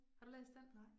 Har du læst den?